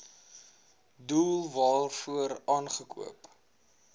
doel waarvoor aangekoop